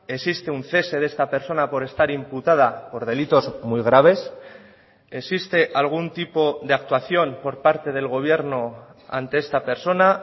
existe un cese de esta persona por estar imputada por delitos muy graves existe algún tipo de actuación por parte del gobierno ante esta persona